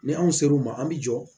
Ni anw sera u ma an bi jɔ